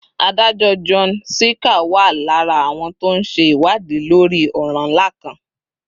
adájọ́ john sirica wà lára àwọn tó ń ṣe ìwádìí lórí ọ̀ràn ńlá kan